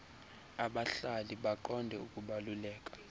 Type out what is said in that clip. abahlali baqonde ukubaluleka